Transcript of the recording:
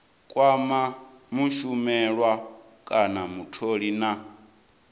kwama mushumelwa kana mutholi na